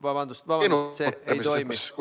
Vabandust, vabandust, see ei toimi!